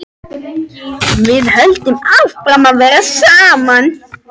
Við höldum áfram að vera saman.